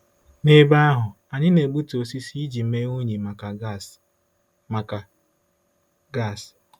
N'ebe ahụ, anyị na-egbutu osisi iji mee unyi maka gas. maka gas.